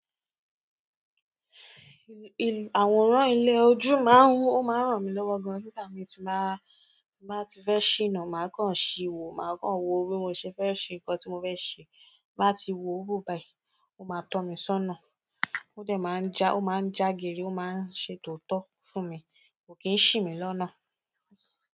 Àwòrán ilẹ̀ ojú máa ń wú, ó máa ń ràn mí lọ́wọ́ gan-an nígbà mi tí máa, tí máa ti fẹ́ ṣìnà, màá kàn ṣíwò, màá kàn wo bí mo ṣe fẹ́ ṣe nǹkan tí mo fẹ́ ṣe. Bá ti wo òwò báyìí, ó máa tọ́ mi sónà. Ó dẹ̀ máa ń já, ó máa ń jágeere, ó máa ń ṣè tòotọ́ fún mi, kò kí ń ṣì mí lọ́nà.